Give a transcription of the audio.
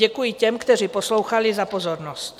Děkuji těm, kteří poslouchali, za pozornost.